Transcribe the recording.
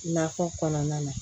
Nakɔ kɔnɔna na